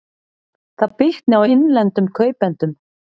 Það bitni á innlendum kaupendum